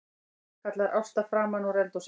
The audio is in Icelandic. kallar Ásta framanúr eldhúsi.